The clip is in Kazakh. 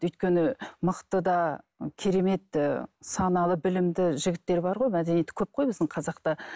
өйткені мықты да керемет ііі саналы білімді жігіттер бар ғой мәдениетті көп қой біздің қазақта